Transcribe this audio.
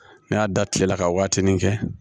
N y'a da tile la ka waatinin kɛ